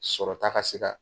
Sɔrɔta ka se ka